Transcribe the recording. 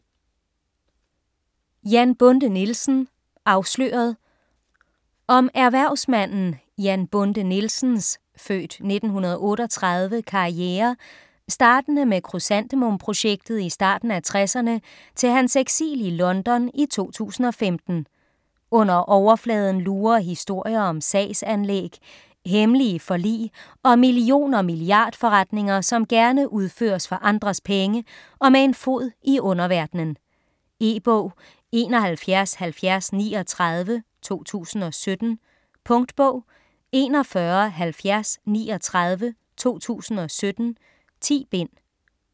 Jan Bonde Nielsen - afsløret Om erhvervsmanden Jan Bonde Nielsens (f. 1938) karriere startende med krysantemum-projektet i starten af 60'erne til hans eksil i London i 2015. Under overfladen lurer historier om sagsanlæg, hemmelige forlig og million- og milliardforretninger, som gerne udføres for andres penge og med en fod i en underverden. E-bog 717039 2017. Punktbog 417039 2017. 10 bind.